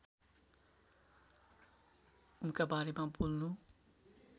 उनका बारेमा बोल्नु